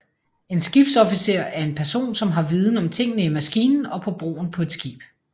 En skibsofficer er en person som har viden om tingene i maskinen og på broen på et skib